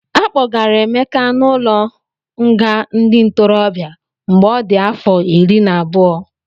Akpọgara Emeka n'ụlọnga ndị ntorobịa mgbe ọ dị afọ iri na anọ.